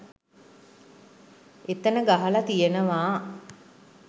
එතන ගහල තියනවා